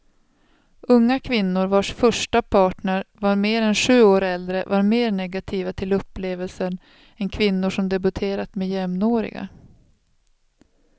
Unga kvinnor vars första partner var mer än sju år äldre var mer negativa till upplevelsen än kvinnor som debuterat med jämnåriga.